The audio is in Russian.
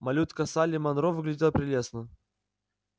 малютка салли манро выглядела прелестно